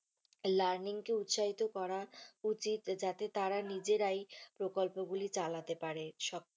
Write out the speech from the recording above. Learning কে উত্সাহিত করা উচিত যাতে তারা নিজেরাই প্রকল্প গুলি চালাতে পারে।